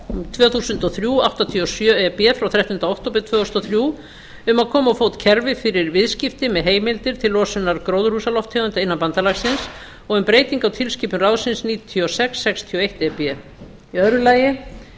tvö þúsund og þrjú hundrað áttatíu og sjö e b frá þrettánda október tvö þúsund og þrjú um að koma á fót kerfi með viðskipti fyrir heimildir til losunar gróðarhúsalofttegunda innan bandalagsins og um breytingu á tilskipun ráðsins níutíu og sex sextíu og eitt e b önnur